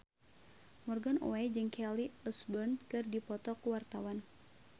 Morgan Oey jeung Kelly Osbourne keur dipoto ku wartawan